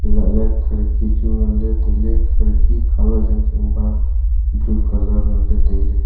elah ley kharki chu ngan ley tai ley kharki kuh colour yang chang ba blue colour ngan ley tai ley.